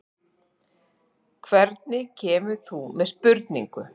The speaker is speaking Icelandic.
Hvernig kemur þú með spurningu?